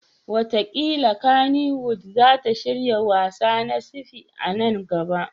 Wataƙila Kannywood za ta shirya wassa na sci-fi a nan gaba.